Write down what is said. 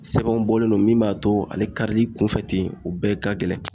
Sɛbɛnw bɔlen no min b'a to ale karili kunfɛ ten o bɛɛ ka gɛlɛn